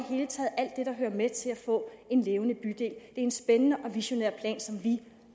der hører med til at få en levende bydel det en spændende og visionær plan som vi